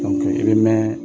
i be mɛɛ